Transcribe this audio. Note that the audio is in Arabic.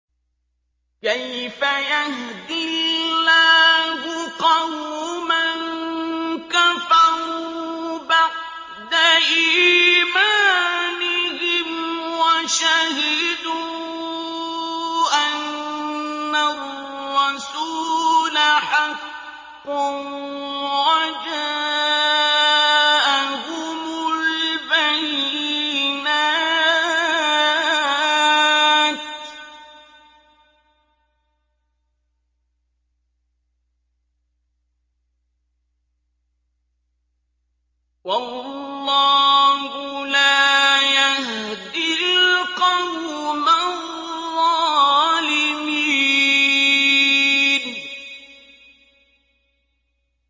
كَيْفَ يَهْدِي اللَّهُ قَوْمًا كَفَرُوا بَعْدَ إِيمَانِهِمْ وَشَهِدُوا أَنَّ الرَّسُولَ حَقٌّ وَجَاءَهُمُ الْبَيِّنَاتُ ۚ وَاللَّهُ لَا يَهْدِي الْقَوْمَ الظَّالِمِينَ